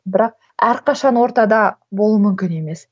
бірақ әрқашан ортада болу мүмкін емес